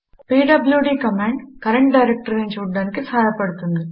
PWD command current డైరెక్టరీని చూడటానికి సహాయపడుతుంది